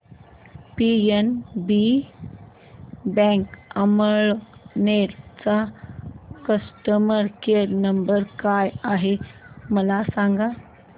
PNB bank Amalner चा customer care number काय आहे मला सांगा